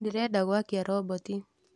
ndĩrenda gũakia roboti